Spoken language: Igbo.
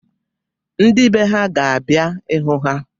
Ndị be ha ga-abia ịhụ ha.